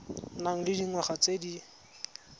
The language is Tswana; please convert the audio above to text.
nang le dingwaga tse di